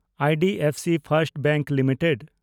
IDFC First Bank limited